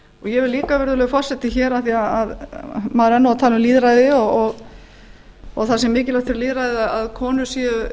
vil líka virðulegur forseti hér af því maður er nú að tala um lýðræði og það sé mikilvægt fyrir lýðræðið að konur séu